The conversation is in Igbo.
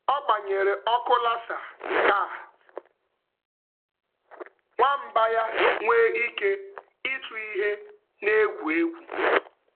Ọ gbanyere ọkụ laser ka nwamba laser ka nwamba ya nwee ike ịchụ ihe na-egwu egwu.